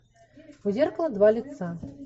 у зеркала два лица